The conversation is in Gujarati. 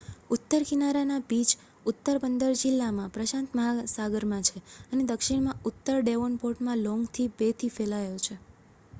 ઉત્તર કિનારાના બીચ ઉત્તર બંદર જિલ્લામાં પ્રશાંત મહાસાગરમાં છે અને દક્ષિણમાં ઉત્તર ડેવોનપોર્ટમાં લોંગ બેથી ફેલાયેલો છે